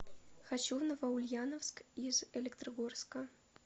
хочу в новоульяновск из электрогорска